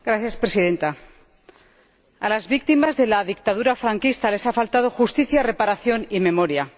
Señora Presidenta, a las víctimas de la dictadura franquista les ha faltado justicia, reparación y memoria.